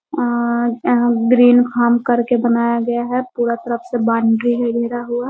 अ यहाँ green farm कर के बनाया गया है पूरा तरफ से बाउंड्री है घेरा हुआ।